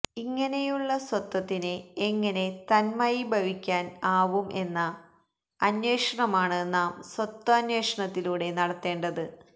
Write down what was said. ഇങ്ങനെയുള്ള സ്വത്വത്തിന് എങ്ങനെ തന്മയീഭവിക്കാന് ആവും എന്ന അന്വേഷണമാണ് നാം സ്വത്വാന്വേഷണത്തിലൂടെ നടത്തേണ്ടത്